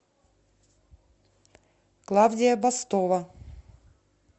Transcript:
клавдия бастова